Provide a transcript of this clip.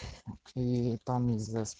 ии там из-за сп